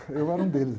Eu era um deles, né?